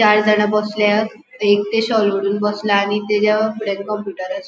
चारजाणा बसल्यात एकटे शॉल ओडून बसला आनी तेच्या फूडयान कंप्युटर आसा.